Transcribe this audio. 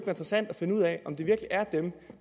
interessant at finde ud af om det virkelig er dem